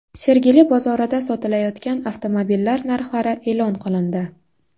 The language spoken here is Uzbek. Sergeli bozorida sotilayotgan avtomobillar narxlari e’lon qilindi.